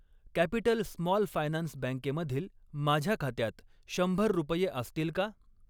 Capital small finance बँके मधील माझ्या खात्यात शंभर रुपये असतील का?